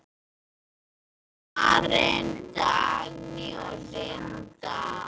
Karen, Dagný og Linda.